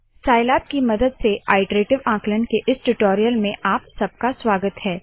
Scilab की मदद से आइटरेटीव आंकलन के इस टूटोरीयल में आप सबका स्वागत है